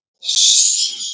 Stingur upp í hann góðgæti.